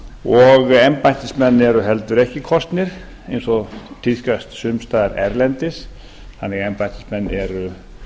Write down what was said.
og embættismenn eru heldur ekki kosnir eins og tíðkast sums staðar erlendis þannig að embættismenn eru